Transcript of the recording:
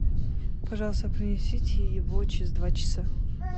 пожалуйста принесите его через два часа